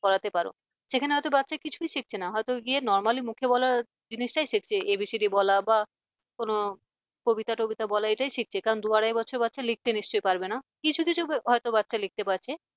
করাতে পারো সেখানে হয়তো বাচ্চাকে কিছুই শিখছে না হয়তো গিয়ে normally মুখে বলা জিনিসটাই শিখছে abcd বলা বা কোন কবিতা টবিতা বলো এটাই শিখছে। কারণ দু আড়াই বছরের বাচ্চা লিখতে নিশ্চয়ই পারবে না কিছু কিছু হয়তো বাচ্চা লিখতে পারছে